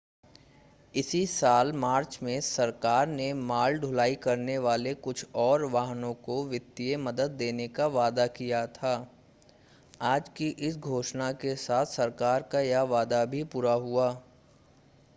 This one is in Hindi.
इसी साल मार्च में सरकार ने माल ढुलाई करने वाले कुछ और वाहनों को वित्तीय मदद देने का वादा किया था आज की इस घोषणा के साथ ही सरकार का वह वादा भी पूरा हुआ